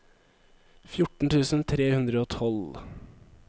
fjorten tusen tre hundre og tolv